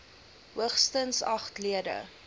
hoogstens agt lede